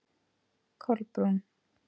Kolbrún